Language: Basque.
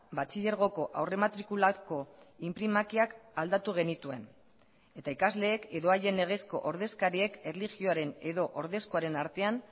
batxilergoko aurrematrikulako inprimakiak aldatu genituen eta ikasleek edo haien legezko ordezkariek erlijioaren edo ordezkoaren artean